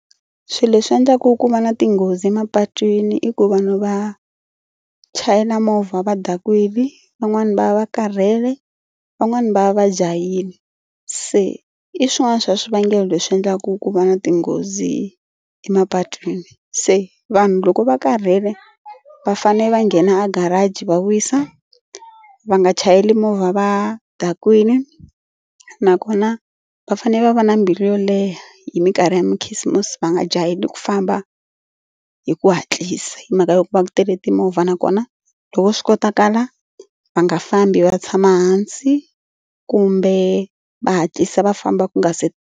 Swilo leswi endlaka ku va na tinghozi emapatwini i ku vanhu va chayela movha va dakwini, van'wani va va karhele, van'wani va va va jahile. Se i swin'wana swa swivangelo leswi endlaka ku va na tinghozi emapatwini se vanhu loko va karhele va fane va nghena a garage va wisa. Va nga chayeli movha va dakwini nakona va fanele va va na mbilu yo leha hi mikarhi karhi ya makhisimusi va nga jaheli ku famba hi ku hatlisa hi mhaka yo ku va ku tele timovha nakona loko swi kotakala va nga fambi va tshama hansi kumbe va hatlisa va famba ku nga se.